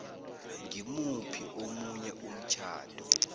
ngimuphi omunye umtjhado